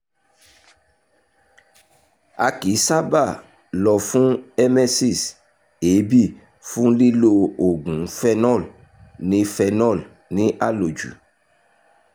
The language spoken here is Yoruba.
a kì í sábà lọ fún emesis (èébì) fún lílo oògùn phenol ní phenol ní àlòjù